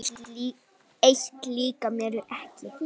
Eitt líkar mér ekki.